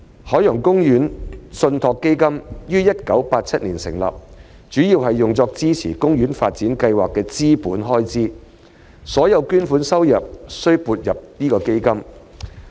海洋公園信託基金於1987年成立，主要用作支持海洋公園發展計劃的資本開支，所有捐款收入須撥入基金。